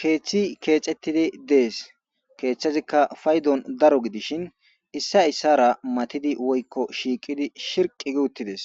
keeththi keecettidi dees keeththazikka faydon daro gidishin issa issara matidi woykko shiiqidi shirqi giuttides